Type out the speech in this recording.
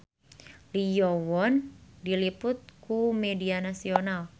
Lee Yo Won diliput ku media nasional